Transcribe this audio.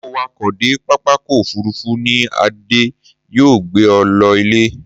Mo wakọ̀ dé pápákọ̀ òfurufú ni, Adé yóò gbé e lọ ilé.